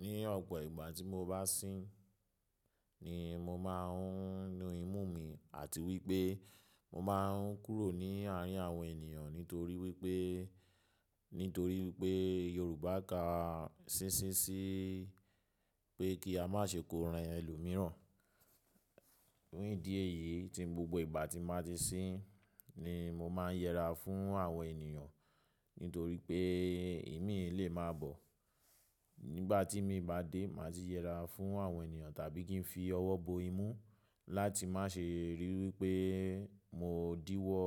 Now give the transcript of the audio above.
Ní ọ̀pọ̀ ìgbà tí mo bá sín ni mo máa ń nu imú mi àti wípé mo máa ń kúrò ní àárín àwọn ènìyàn nítorí wípé, nítorí wípé Yorùbá ka sísí sí pé kí a má ṣe kó ran ẹlòmíràn. Ní n idíẹ̀ yìí tí gbogbo ìgbà tí màá ti sín ni mo máa ń yẹra fún àwọn ènìyàn nítorí pé ìmí le máa bọ̀. Nígbà tí èmi bá dé màá ti yẹra fún àwọn ènìyàn tàbí kí n fi ọwọ́ bo imú láti má ṣe rí wípé mo díwọ́